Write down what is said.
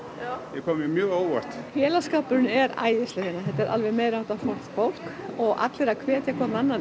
kom mér mjög á óvart félagsskapurinn er æðislegur þetta er alveg meiri háttar flott fólk og allir að hvetja hvorn annan